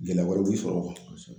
Gɛlɛya wɛrɛw bɛ sɔrɔ kosɛbɛ